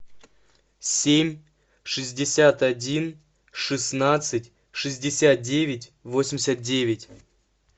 семь шестьдесят один шестнадцать шестьдесят девять восемьдесят девять